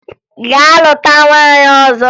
Gaa lụta nwaanyị ọzọ!